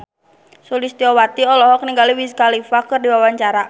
Sulistyowati olohok ningali Wiz Khalifa keur diwawancara